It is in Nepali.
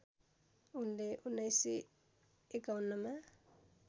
उनले १९५१ मा